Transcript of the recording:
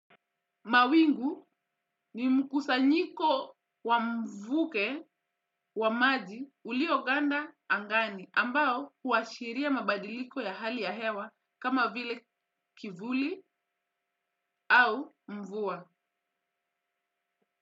Mawingu ni mkusanyiko wa mvuke wa maji ulioganda angani ambao huashiria mabadiliko ya hali ya hewa kama vile kivuli au mvua.